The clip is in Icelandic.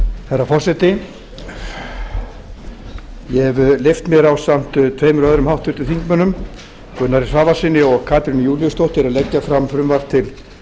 herra forseti ég hef leyft mér ásamt tveimur öðrum háttvirtum þingmönnum gunnari svavarssyni og katrínu júlíusdóttur að leggja fram frumvarp til